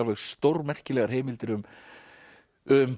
stórmerkilegar heimildir um um